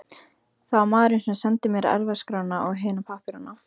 Það var maðurinn sem sendi mér erfðaskrána og hina pappírana.